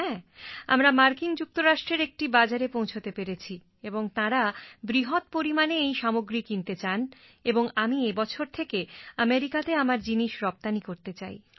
হ্যাঁ আমরা মার্কিন যুক্তরাষ্ট্রের একটা বাজারে পৌঁছতে পেরেছি এবং তাঁরা বৃহৎ পরিমাণে এই সামগ্রী কিনতে চান এবং আমি এ বছর থেকে আমেরিকাতে আমার জিনিস রপ্তানি করতে চাই